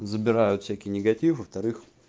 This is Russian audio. забирают всякий негатив во-вторых